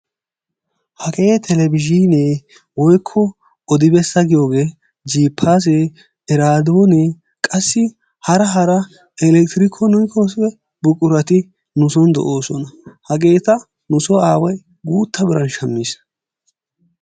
hagee televizhiinee woykko odi bessa giyogee jiippaasee eraadoone qassi hara hara elekitiroonikise buqurati nu soni de'oosona, hageeta nusoo aaway guutta biran shammis.